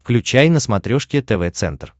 включай на смотрешке тв центр